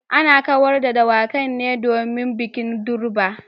Ana kawata dawakin ne domin bikin durbar